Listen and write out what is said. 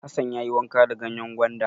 Hassan ya yi wanka da ganyen gwanda.